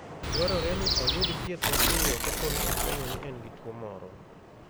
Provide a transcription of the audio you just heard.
Dwarore ni oyud thieth mapiyo kapo ni ofwenyo ni en gi tuwo moro.